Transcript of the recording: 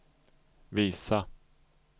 visa